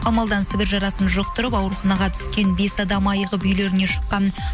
ал малдан сібір жарасын жұқтырып ауруханаға түскен бес адам айығып үйлеріне шыққан